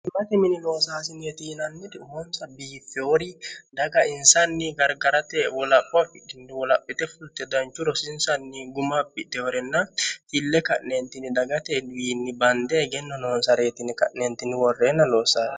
himmate minimoosaasini yetiinannidi ufonsa biiffeoori daga insanni gargarate wolaphookini wolaphite futte danchu rosiinsanni gumapite horenna fille ka'neentini dagate wiinni bande hegenno noonsareetini ka'neentinni worreenna loossaane